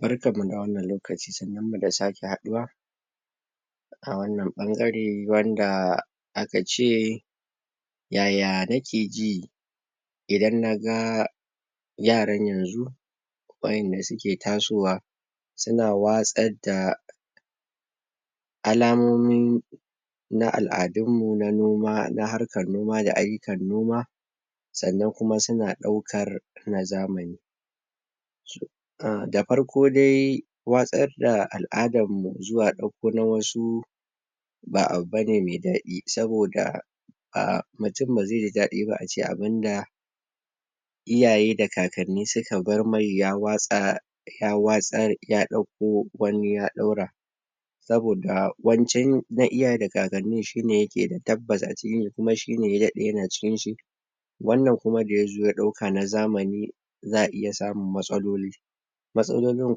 Barkan mu da wannan lokaci, sannunmu da sake haɗuwa a wannan bangare wanda um akace yaya nake ji idan naga yaran yanzu wa'inda suke tasowa suna watsar da alamomin na al'adun mu na noma na harkar noma da aiyukan noma sannan kuma suna ɗaukar na zamani da farko dai watsar da al'adarmu zuwa dauko na wasu ba abu bane mai daɗi, saboda mutum bazai ji daɗi ace abinda iyaye da kakanni suka bar mai ya watsa ya watsar ya dauko wani ya daura saboda wancan na iyaye da kakanniin shine yake da tabbasa acikin shi kuma shi ne ya daɗe yana ciki shi wanna kuma da yazo ya ɗauka na zamani za'a iya samun matsaloli matsalolin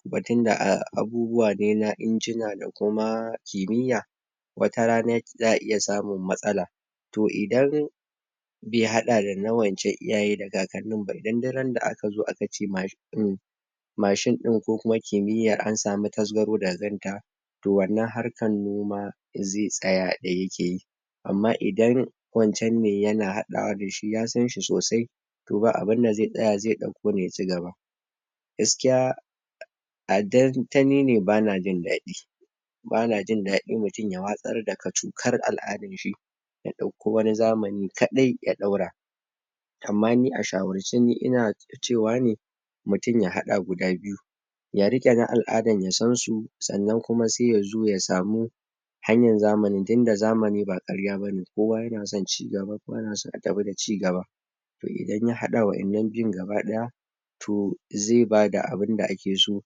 kuma tunda abubuwa na injina da kuma kimiya wata rana za'a iya samun matsala to idan bai haɗa dana wancan iyaye da kakannin ba idan duk randa akazo akace mashin din ko kuma kimiyar an samu tasgaro daga kanta to wannan harkan noma zai tsaya daya keyi amma idan wancan ne yana haɗawa dashi ya san shi sosai to ba abin da zai tsaya, zai dauko ne ya cigaba gaskiya adan ta nine ban jin daɗi bana jin dadi mutum ya watsar da kachokar al'adar shi ya dauko wani zamani kadai ya daura amma ni a shawarce ni ina cewa ne mtum ya hada guda biyu ya rike na al'adan ya sansu sannan kuma sai ya zo ya samu hanyan zamanin tinda zamani ba karya bane, kowa yana son cigaba, kowa yana so ya tafi da cigaba to idan ya hada wa'annan biyun gaba daya to zai bada abinda ake so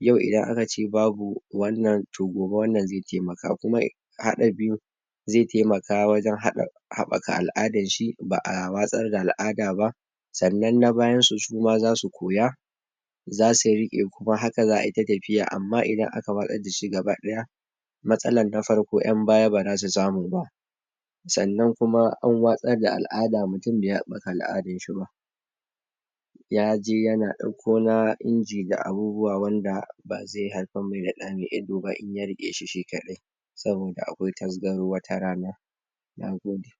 yau idan akace ba wannan to gobe wannan zai taimaka, kuma hada biyun zai taimaka wajen habbaka al'adan shi ba'a watsar da al'ada ba sannan na bayansu suma zasu koya zasu rike, kuma haka za'ata tafiya amma idan aka watsar dashi gaba daya matsalan na farko, yan baya baza su samu ba sannan kuma an watsar da al'ada mutum bai habbaka al'adan shi ba yaje yana dauko na injina da abubuwa wanda bazai haifar mai da da mai ido ba inya rike shi shi kadai saboda akwai tasgaro wata rana Nagode.